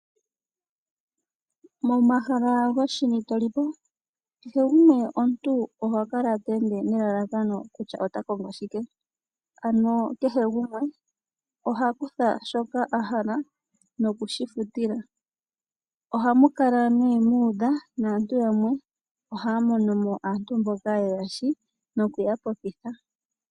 Momahala goshini to li po, kehe gumwe omuntu oho kala to ende nelalakano kutya ota kongo shike, ano kehe gumwe oha kutha shoka a hala nokushi futila. Ohamu kala nee mu udha naantu yamwe ohaya mono mo aantu mboka yeya sho noku ya popitha.